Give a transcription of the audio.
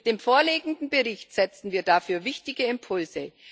Mit dem vorliegenden Bericht setzen wir dafür wichtige Impulse.